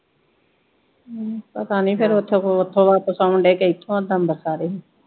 ਹਮ ਪਤਾ ਨਹੀਂ ਫੇਰ ਉਥੋਂ ਉਥੋ ਵਾਪਸ ਆਉਂਦਾ ਢੇ ਕਿ ਇਥੋਂ ਤੁਹਾਨੂੰ ਦੱਸਾਂ ਤੇ।